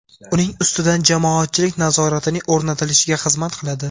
uning ustidan jamoatchilik nazoratining o‘rnatilishiga xizmat qiladi.